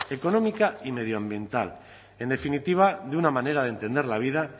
económica y medioambiental en definitiva de una manera de entender la vida